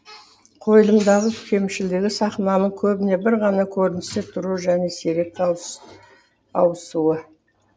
қойылымдағы кемшілігі сахнаның көбіне бір ғана көріністе тұруы және сирек ауысуы